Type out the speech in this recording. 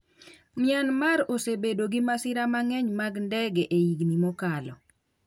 Myanmar osebedo gi masira mang'eny mag ndege e higni mokalo.